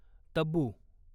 Tabu